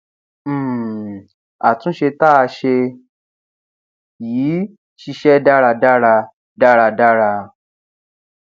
um àtúnṣe tá a ṣe yìí ṣiṣẹ dáradára dáradára